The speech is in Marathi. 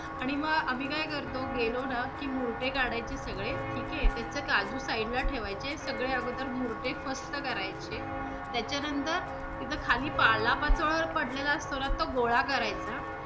आणि मग आम्ही काय करतो गेलो न की मुर्टे काढायचे सगळे ठीक आहे. तिथंचे काजू side ला ठेवायचे, सगळे अगोदर मुर्टे फस्त करायचे, त्याच्या नंतर तिथं खाली पालापाचोळा पडलेला असतो ना, तो गोळा करायचा.